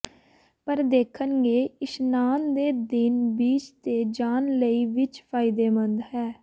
ਪਰ ਦੇਖਣਗੇ ਇਸ਼ਨਾਨ ਦੇ ਦਿਨ ਬੀਚ ਤੇ ਜਾਣ ਲਈ ਵਿੱਚ ਫਾਇਦੇਮੰਦ ਹੈ